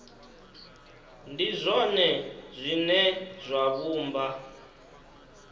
ndi zwone zwine zwa vhumba